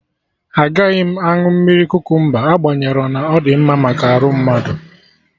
Agaghị m aṅụ mmiri kukumba agbanyerọ na ọ dị mma maka arụ mmadụ